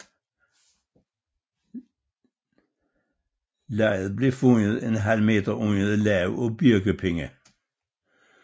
Liget blev fundet en halv meter under et lag af birkepinde